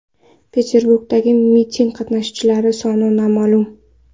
Peterburgdagi miting qatnashchilari soni noma’lum.